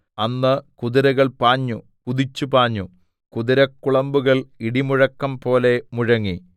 അന്ന് കുതിരകൾ പാഞ്ഞു കുതിച്ചു പാഞ്ഞു കുതിരക്കുളമ്പുകൾ ഇടിമുഴക്കം പോലെ മുഴങ്ങി